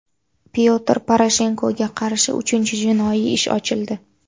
Pyotr Poroshenkoga qarshi uchinchi jinoiy ish ochildi.